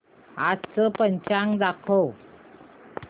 आजचं पंचांग दाखव